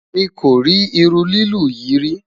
mí kori irú lilu yí rí